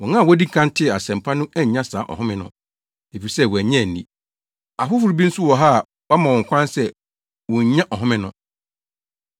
Wɔn a wodii kan tee Asɛmpa no annya saa ahome no, efisɛ wɔannye anni. Afoforo bi nso wɔ hɔ a wama wɔn kwan sɛ wonnya ɔhome no.